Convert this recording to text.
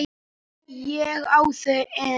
Ég á þau ein.